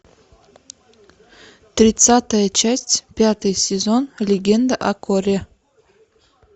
тридцатая часть пятый сезон легенда о корре